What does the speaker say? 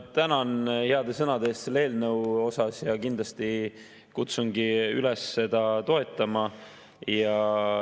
Ma tänan heade sõnade eest selle eelnõu kohta ja kindlasti kutsungi üles seda toetama.